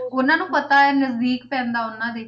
ਉਹਨਾਂ ਨੂੰ ਪਤਾ ਹੈ ਨਜ਼ਦੀਕ ਪੈਂਦਾ ਉਹਨਾਂ ਦੇ,